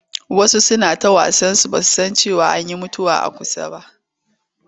Wasu suna ta wasansu ba su san cewa an yi mutuwa a kusa ba.